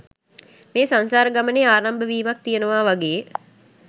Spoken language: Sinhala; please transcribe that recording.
මේ සංසාර ගමනේ ආරම්භ වීමක් තියෙනවා වගේ